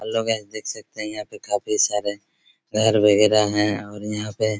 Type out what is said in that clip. hello guys देख सकते है यहाँ पे काफी सारे घर-वगेरा हैं और यहाँ पे